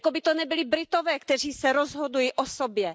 Jako by to nebyli Britové, kteří se rozhodují o sobě.